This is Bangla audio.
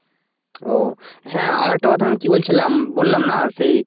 ও হ্যাঁ আর একটা কথা আমি কি বলছিলাম বললাম না সেই